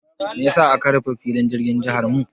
Mai ya sa aka rufe filin jirgin jiharmu?